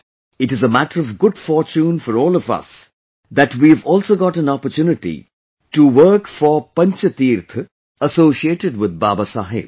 it is a matter of good fortune for all of us that we have also got an opportunity to work for Panch Teerth associated with Babasaheb